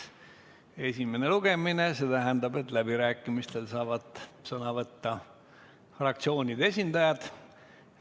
Praegu on esimene lugemine ja see tähendab, et läbirääkimistel saavad sõna võtta fraktsioonide esindajad.